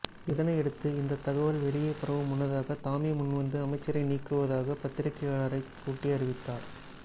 இதனையடுத்து இந்த தகவல் வெளியே பரவும் முன்னதாக தாமே முன்வந்து அமைச்சரை நீக்குவதாக பத்திரிகையாளரை கூட்டி அறிவித்தார்